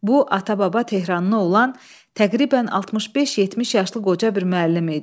Bu ata-baba Tehranlı olan təqribən 65-70 yaşlı qoca bir müəllim idi.